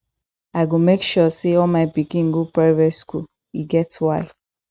i go make sure say all my pikin go private school e get why